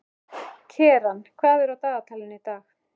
Keran, hvað er á dagatalinu í dag?